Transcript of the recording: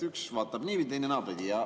Üks vaatab niipidi ja teine naapidi.